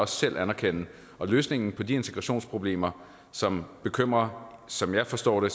selv anerkende og løsningen på de integrationsproblemer som bekymrer som jeg forstår det